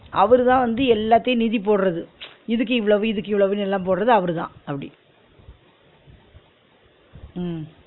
அவருதான் வந்து எல்லாத்தியு நிதி போடுறது இதுக்கு இவ்ளவு இதுக்கு இவ்ளவுன்னு எல்லா போடுறது அவருதா அப்டி உம்